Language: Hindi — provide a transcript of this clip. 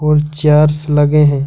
और चेयर्स लगे हैं।